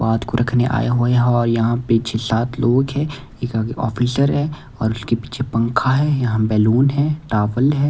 बात को रखने आया हुआ हैं और यहाँ पे छह सात लोग है एक आगे ऑफिसर है और उसके पीछे पंखा है यहाँ बैलून है टावल है ।